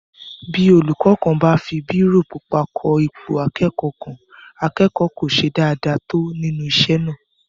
Bí olúkọ́ kan bá fi bírò pupa kọ ipò akẹ́kọ̀ọ́ kan, akẹ́kọ̀ọ́ kò ṣe dáadáa tó nínú isé náà